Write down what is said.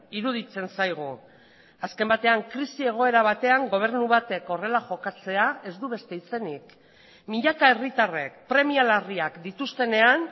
iruditzen zaigu azken batean krisi egoera batean gobernu batek horrela jokatzea ez du beste izenik milaka herritarrek premia larriak dituztenean